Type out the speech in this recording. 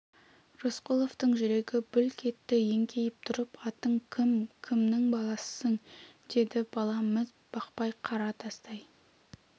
рысқұловтың жүрегі бүлк етті еңкейіп тұрып атың кім кімнің баласысың деді бала міз бақпай қара тастай